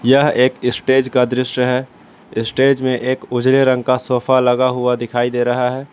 यह एक स्टेज का दृश्य है स्टेज में एक उजले रंग का सोफा लगा हुआ दिखाई दे रहा है।